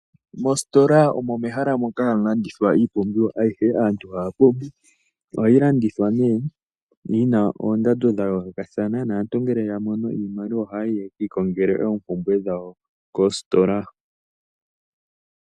Mostola omo mehala moka hamu landithwa iipumbiwa ayihe aantu haya pumbwa. Oha yi landithwa nee yina oondado dha yoolokathana naantu ngele ya mono iimaliwa ohaya yi yeki ikongele oompubwe dhawo koostola.